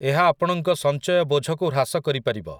ଏହା ଆପଣଙ୍କ ସଞ୍ଚୟ ବୋଝକୁ ହ୍ରାସ କରିପାରିବ ।